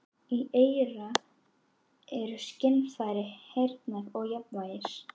Í eyra eru skynfæri heyrnar og jafnvægis.